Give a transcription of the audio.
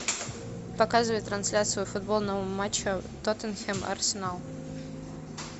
показывай трансляцию футбольного матча тоттенхэм арсенал